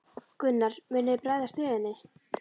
Gunnar: Munið þið bregðast við henni?